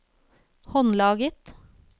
håndlaget